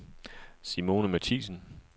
Simone Matthiesen